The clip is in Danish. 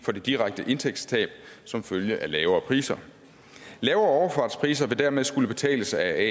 for det direkte indtægtstab som følge af lavere priser lavere overfartspriser vil dermed skulle betales af